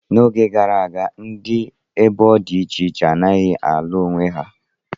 Oge gara aga, ndị ebo dị iche iche anaghị alụ onwe ha.